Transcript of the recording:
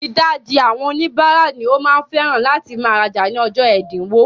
Ìdajì àwọn oníbàárà ni ó máa ń fẹ́ràn láti máa rajà ní ọjọ́ ẹ̀dínwó.